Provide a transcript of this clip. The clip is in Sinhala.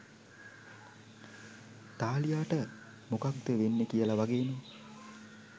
තාලියාට මොකද්ද වෙන්නේ කියලා වගේම